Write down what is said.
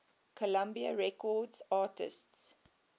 columbia records artists